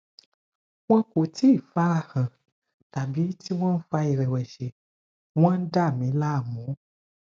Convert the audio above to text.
wọn kò tíì fara hàn tàbí tí wọn ń fa ìrẹ̀wẹ̀sì wọn ń dà mí láàmú